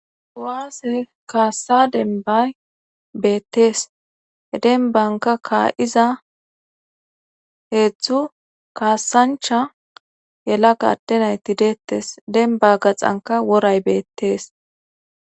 Kuwaase kaassa denbay beettees he denbanka kaa7iza heedzdzu kaassancha yelaga adde nayti deettes denba gaxanka woray beettees